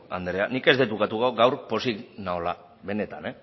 andrea nik ez dut ukatuko gaur pozik nagoela benetan